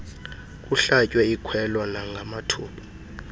kuhlatywe ikhwelo nangamathuba